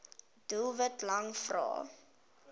doelwit lang vrae